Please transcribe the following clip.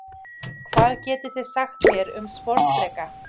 Hvað getið þið sagt mér um sporðdreka?